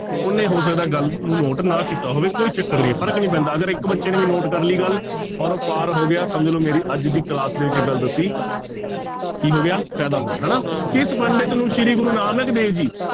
ਉਹਨੇ ਹੋ ਸਕਦਾ ਗੱਲ ਨੂੰ note ਨਾ ਕੀਤਾ ਹੋਵੇ, ਕੋਈ ਚੱਕਰ ਨੀ ਹੈ ਫ਼ਰਕ ਨੀ ਪੈਂਦਾ, ਅਗਰ ਇੱਕ ਬੱਚੇ ਨੇ ਵੀ note ਕਰ ਲਈ ਗੱਲ ਔਰ ਉਹ ਪਾਰ ਹੋ ਗਿਆ ਸਮਝ ਲਓ ਮੇਰੀ ਅੱਜ ਦੀ class ਦੇ ਵਿੱਚ ਇਹ ਗੱਲ ਦੱਸੀ ਕੀ ਹੋ ਗਿਆ ਫ਼ਾਇਦਾ ਹੋ ਗਿਆ ਹਨਾ, ਕਿਸ ਪੰਡਿਤ ਨੂੰ ਸ੍ਰੀ ਗੁਰੂ ਨਾਨਕ ਦੇਵ ਜੀ